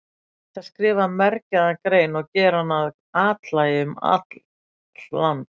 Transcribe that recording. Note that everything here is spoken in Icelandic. Ég ætti að skrifa mergjaða grein og gera hana að athlægi um allt land.